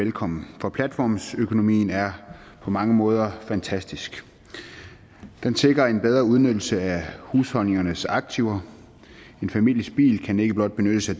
velkommen for platformsøkonomien er på mange måder fantastisk den sikrer en bedre udnyttelse af husholdningernes aktiver en families bil kan ikke blot benyttes af